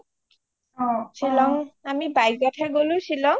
শ্বিলং আমি bike ত হে গলো শ্বিলং